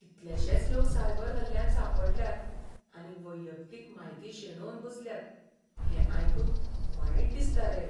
कितलेशेच लोक सायबर हल्ल्यांत सांपडल्यात आनी वैयक्तीक म्हायती शेणोवन बसल्यात हें आयकून वायट दिसता रे.